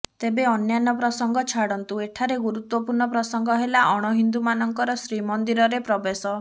ତେବେ ଅନ୍ୟାନ୍ୟ ପ୍ରସଙ୍ଗ ଛାଡ଼ନ୍ତୁ ଏଠାରେ ଗୁରୁତ୍ୱପୂର୍ଣ୍ଣ ପ୍ରସଙ୍ଗ ହେଲା ଅଣ ହିନ୍ଦୁ ମାନଙ୍କର ଶ୍ରୀମନ୍ଦିରରେ ପ୍ରବେଶ